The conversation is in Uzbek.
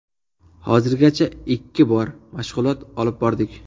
Hozirgacha ikki bor mashg‘ulot olib bordik.